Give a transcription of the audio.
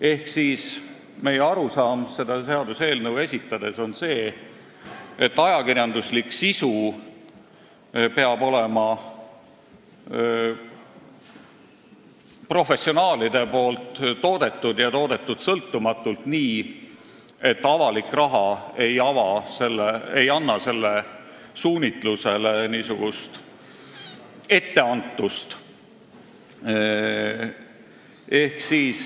Ehk meie arusaam seda seaduseelnõu esitades on see, et ajakirjanduslik sisu peab olema professionaalide toodetud ja sõltumatu, nii et avalik raha ei anna selle suunitlusele niisugust etteantust.